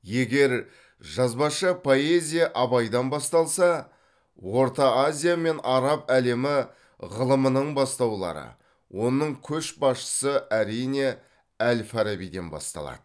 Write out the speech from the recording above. егер жазбаша поэзия абайдан басталса орта азия мен араб әлемі ғылымының бастаулары оның көшбасшысы әрине әл фарабиден басталады